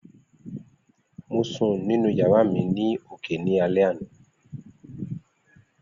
Mo sun ninu yara mi ni oke ni alẹ ana